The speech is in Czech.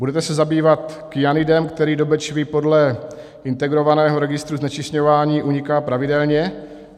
Budete se zabývat kyanidem, který do Bečvy podle integrovaného registru znečišťování uniká pravidelně?